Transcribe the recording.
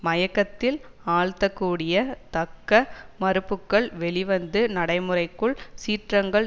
மயக்கத்தில் ஆழ்த்தக்கூடிய தக்க மறுப்புக்கள் வெளிவந்து நடைமுறைக்குள் சீற்றங்கள்